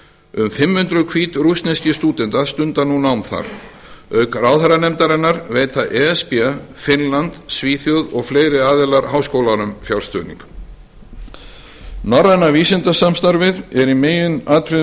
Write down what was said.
um fimm hundruð hvítrússneskir stúdentar stunda nú nám þar auk ráðherranefndarinnar veita e s b finnland svíþjóð og fleiri aðilar háskólanum fjárstuðning norræna vísindasamstarfið er í meginatriðum